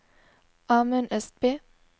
Amund Østby